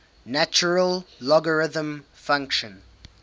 natural logarithm function